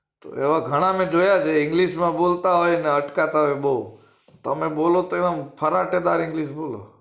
એવા ગણા મેં જોયા છે english બોલતા હોય અચકાતા હોય બઉ તમે બોલે તે ફરાટેદાર english બોલો